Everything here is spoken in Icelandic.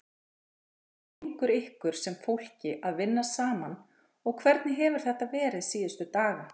Hvernig gengur ykkur sem fólki að vinna saman og hvernig hefur þetta verið síðustu daga?